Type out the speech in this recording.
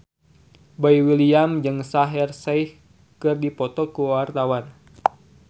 Boy William jeung Shaheer Sheikh keur dipoto ku wartawan